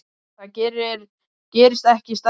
Það gerist ekki stærra.